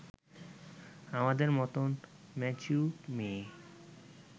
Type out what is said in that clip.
আমাদের মতন ম্যাচিওর মেয়ে